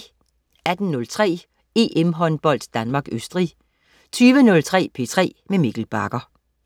18.03 EM-håndbold: Danmark-Østrig 20.03 P3 med Mikkel Bagger